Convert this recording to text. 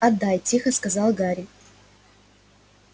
отдай тихо сказал гарри